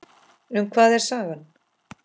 Um hvað er sagan?